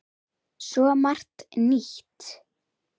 Svo margt nýtt.